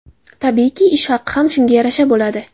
Tabiiyki, ish haqi ham shunga yarasha bo‘ladi.